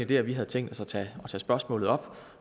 dér vi havde tænkt os at tage spørgsmålet op